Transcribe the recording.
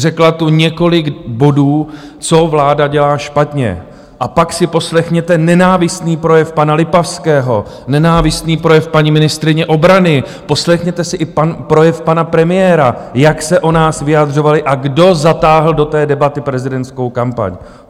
Řekla tu několik bodů, co vláda dělá špatně, a pak si poslechněte nenávistný projev pana Lipavského, nenávistný projev paní ministryně obrany, poslechněte si i projev pana premiéra, jak se o nás vyjadřovali a kdo zatáhl do té debaty prezidentskou kampaň.